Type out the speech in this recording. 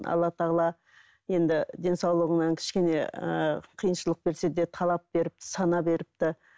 алла тағала енді денсаулығыңнан кішкене ыыы қиыншылық берсе де талап беріпті сана беріпті